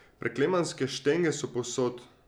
Preklemanske štenge so povsod.